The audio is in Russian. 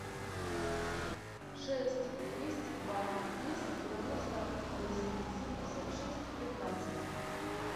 шесть двести два двести девяносто восемь семьдесят шесть пятнадцать